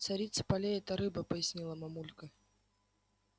царица полей это рыба пояснила мамулька